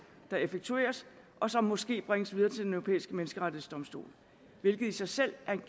der effektueres og som måske bringes videre til den europæiske menneskerettighedsdomstol hvilket i sig selv er en